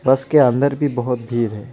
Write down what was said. बस के अंदर भी बहोत भीड़ है.